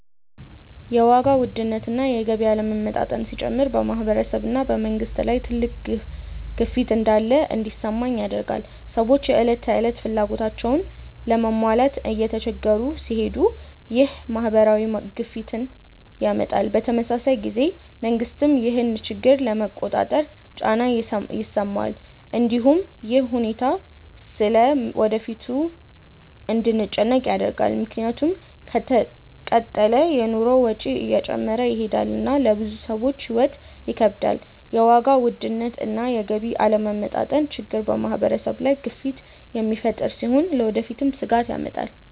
የዋጋ ውድነት እና የገቢ አለመመጣጠን ሲጨምር በማህበረሰብ እና በመንግስት ላይ ትልቅ ግፊት እንዳለ እንዲሰማኝ ያደርገኛል። ሰዎች የዕለት ተዕለት ፍላጎታቸውን ለመሟላት እየተቸገሩ ሲሄዱ ይህ ማህበራዊ ግፊትን ያመጣል። በተመሳሳይ ጊዜ መንግስትም ይህን ችግር ለመቆጣጠር ጫና ይሰማዋል። እንዲሁም ይህ ሁኔታ ስለ ወደፊቱ እንድንጨነቅ ያደርጋል፣ ምክንያቱም ከተቀጠለ የኑሮ ወጪ እየጨመረ ይሄዳል እና ለብዙ ሰዎች ሕይወት ይከብዳል። የዋጋ ውድነት እና የገቢ አለመመጣጠን ችግር በማህበረሰብ ላይ ግፊት የሚፈጥር ሲሆን ለወደፊትም ስጋት ያመጣል።